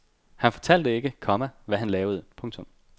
Han fortalte ikke, komma hvad han lavede. punktum